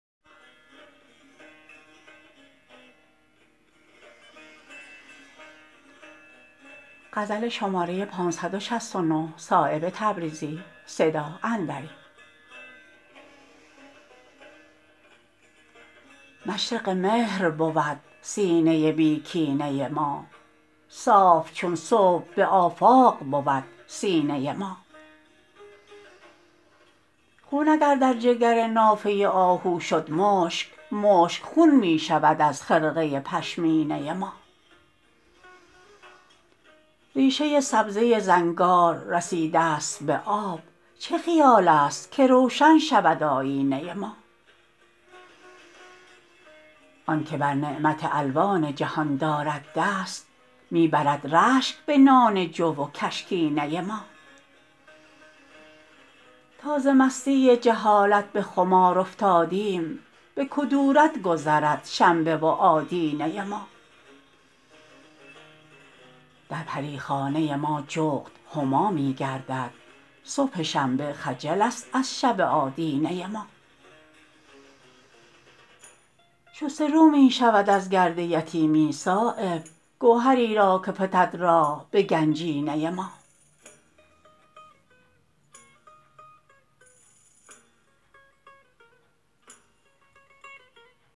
مشرق مهر بود سینه بی کینه ما صاف چون صبح به آفاق بود سینه ما خون اگر در جگر نافه آهو شد مشک مشک خون می شود از خرقه پشمینه ما ریشه سبزه زنگار رسیده است به آب چه خیال است که روشن شود آیینه ما آن که بر نعمت الوان جهان دارد دست می برد رشک به نان جو و کشکینه ما تا ز مستی جهالت به خمار افتادیم به کدورت گذرد شنبه و آدینه ما در پریخانه ما جغد هما می گردد صبح شنبه خجل است از شب آدینه ما شسته رو می شود از گرد یتیمی صایب گوهری را که فتد راه به گنجینه ما